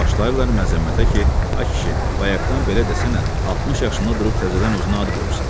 Başlayırlar məzəmmətə ki, ay kişi, bayaqdan belə desənə, 60 yaşında durub təzədən özünə ad qoyursan.